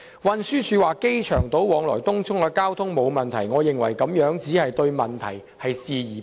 運輸署表示往來機場島和東涌的交通沒有問題，我認為該署只是對問題視而不見。